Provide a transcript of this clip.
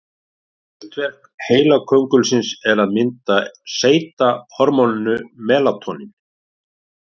Hlutverk heilaköngulsins er að mynda og seyta hormóninu melatóníni.